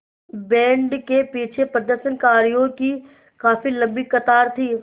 band के पीछे प्रदर्शनकारियों की काफ़ी लम्बी कतार थी